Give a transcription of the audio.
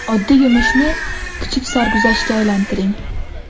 Oddiy yumushni, kichik sarguzashtga aylantiring.